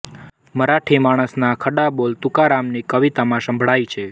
મરાઠી માણસના ખડા બોલ તુકારામની કવિતામાં સંભળાય છે